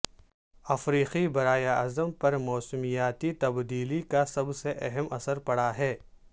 افریقی براعظم پر موسمیاتی تبدیلی کا سب سے اہم اثر پڑا ہے